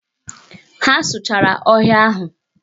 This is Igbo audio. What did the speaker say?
Ha sụchara ọhịa ahụ.